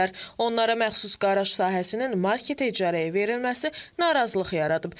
Onlara məxsus qaraj sahəsinin marketə icarəyə verilməsi narazılıq yaradıb.